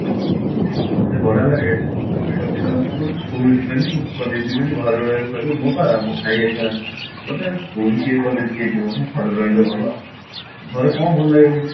କେତେ ବଢିଆ ଲାଗେ ଏବେ ସବୁ ପିଲାମାନେ କଣ କହିଲୁ school ଯିବେନି college ଯିବେନି ଘରେ ରହିବେ କହିବେ ମୁଁ ବା ମୋର ଭାଇଇ ଘରିଆ କହିବେ ବା ଘରେ ରହିଲେ ଭଲ ଘରେ କଣ ଭଲ ଲାଗେ କେଜାଣି